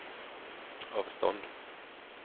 avstånd